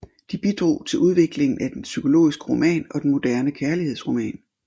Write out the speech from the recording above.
De bidrog til udviklingen af den psykologiske roman og den moderne kærlighedsroman